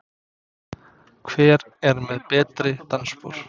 Hver er með betri dansspor?